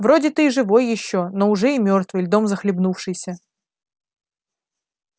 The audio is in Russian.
вроде ты и живой ещё но уже и мёртвый льдом захлебнувшийся